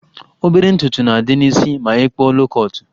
Obere ntutu na-adị n'isi ma ị kpụọ loo kọtụ